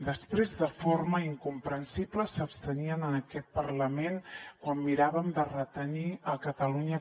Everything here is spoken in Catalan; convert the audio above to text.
després de forma incomprensible s’abstenien en aquest parlament quan miràvem de retenir a catalunya